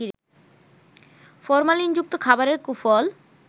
ফরমালিনযুক্ত খাবারের কুফল